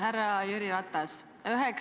Härra Jüri Ratas!